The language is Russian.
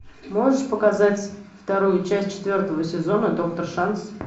можешь показать вторую часть четвертого сезона доктор шанс